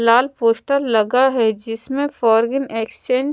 लाल poster लगा है जिसमें फॉरेन एक्सचेंज --